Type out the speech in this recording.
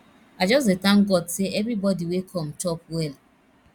i just dey thank god say everybody wey come chop well